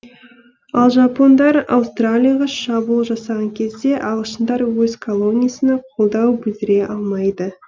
ал жапондар аустралияға шабуыл жасаған кезде ағылшындар өз колониясына қолдау білдіре алмайды